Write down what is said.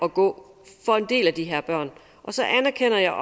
at gå for en del af de her børn og så anerkender jeg